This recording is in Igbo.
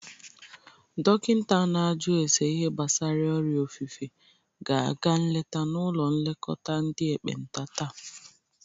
Dokinta a na-aju ase ihe gbasara ọrịa ofufe ga-aga nleta n'ụlọ nlekọta ndị ekpenta taa.